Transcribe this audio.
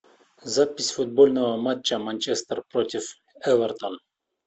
запись футбольного матча манчестер против эвертон